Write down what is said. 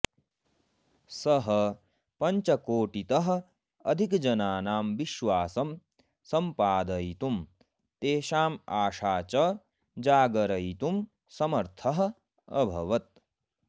सः पञ्चकोटितः अधिकजनानां विश्वासं सम्पादयितुं तेषाम् आशाः च जागरयितुं समर्थः अभवत्